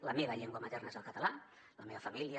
la meva llengua materna és el català la meva família